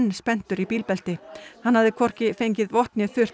spenntur í bílbelti hann hafði hvorki fengið vott né þurrt